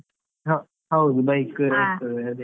ಹ ಹೌದು bike .